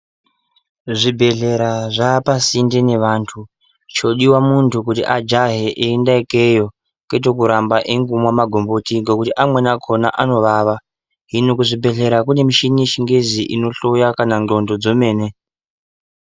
Zvibhedhlera zvaapasinde nevantu chodiwa muntu kuti ajahe eienda ikeyo, kwete kuramba eingomwa magomboti ngekuti amweni akona anovava. Hino kuzvibhedhlera kune michini yechingezi inohloya kana ndxondo dzomene.